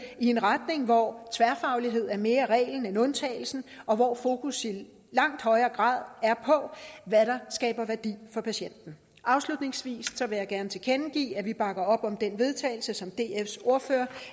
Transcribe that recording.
i en retning hvor tværfagligheden er mere reglen end undtagelsen og hvor fokus i langt højere grad er på hvad der skaber værdi for patienten afslutningsvis vil jeg gerne tilkendegive at vi bakker om det vedtagelse som dfs ordfører